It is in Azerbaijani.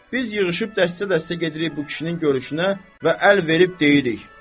Biz yığışıb dəstə-dəstə gedirik bu kişinin görüşünə və əl verib deyirik: